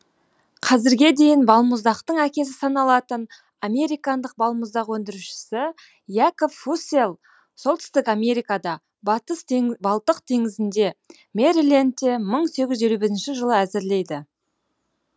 қазірге дейін балмұздақтың әкесі саналатын американдық балмұздақ өндірушісі якоб фусселл солтүстік америкада балтық теңізінде мэрилендте мың сегіз жүз елу бірінші жылы әзірлейді